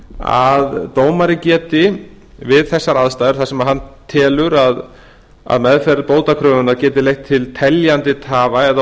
að dómari geti við þessar aðstæður þar sem hann telur að meðferð bótakröfunnar geti leitt til teljandi tafa eða